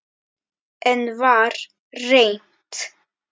Enn var reynt.